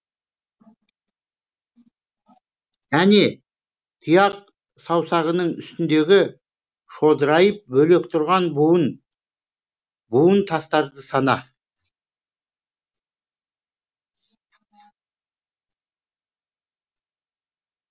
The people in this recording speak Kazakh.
әне тұяқ саусағының үстіндегі шодырайып бөлек тұрған буын буын тастарды сана